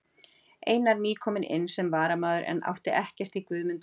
Einar nýkominn inn sem varamaður en átti ekkert í Guðmund Reyni.